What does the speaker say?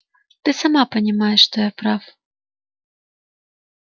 ты сама понимаешь что я прав